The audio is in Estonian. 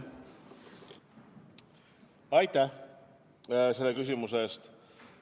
Aitäh selle küsimuse eest!